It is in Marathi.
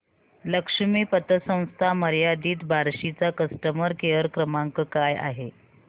लक्ष्मी पतसंस्था मर्यादित बार्शी चा कस्टमर केअर क्रमांक काय आहे